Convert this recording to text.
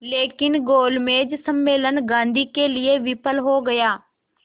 लेकिन गोलमेज सम्मेलन गांधी के लिए विफल हो गया